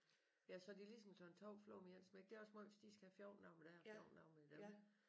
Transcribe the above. Ja så har de ligesom slået 2 fluer med et smæk det er også måj hvis de skal have 14 dage med dig og 14 dage med dem